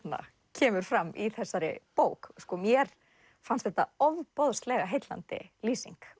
kemur fram í þessari bók mér fannst þetta ofboðslega heillandi lýsing